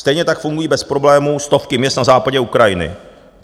Stejně tak fungují bez problému stovky měst na západě Ukrajiny."